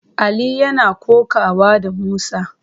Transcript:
Ali yana kokawa da Musa.